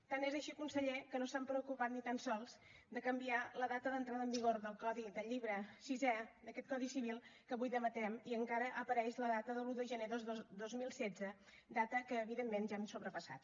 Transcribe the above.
tant és així conseller que no s’han preocupat ni tan sols de canviar la data d’entrada en vigor del codi del llibre sisè d’aquest codi civil que avui debatem i encara apareix la data de l’un de gener del dos mil setze data que evidentment ja hem sobrepassat